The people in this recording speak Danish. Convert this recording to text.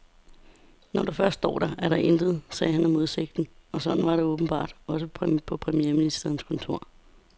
Når du først står der, er der intet, sagde han om udsigten, og sådan var det åbenbart også på premierministerens kontor.